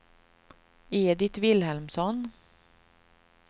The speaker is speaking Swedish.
Edit Vilhelmsson